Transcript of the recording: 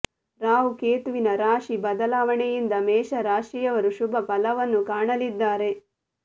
ರಾಹು ಕೇತುವಿನ ರಾಶಿ ಬದಲಾವಣೆಯಿಂದ ಮೇಷ ರಾಶಿಯವರು ಶುಭ ಫಲವನ್ನು ಕಾಣಲಿದ್ದಾರೆ